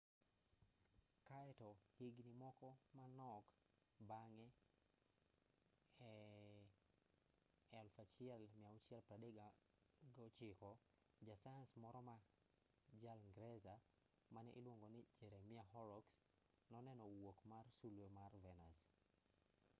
kaeto higni moko manok bang'e e 1639 jasayans moro ma jaingresa mane iluongo ni jeremiah horrocks noneno wuok mar sulwe mar venus